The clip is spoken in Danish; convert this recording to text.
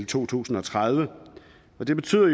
to tusind og tredive det betyder